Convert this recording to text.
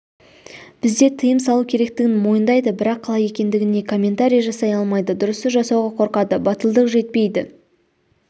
бізде тыйым салу керектігін мойындайды бірақ қалай екендігіне комментарий жасай алмайды дұрысы жасауға қорқады батылдық жетпейді